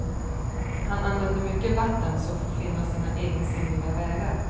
Han använder mycket vatten, som får finna sina egensinniga vägar.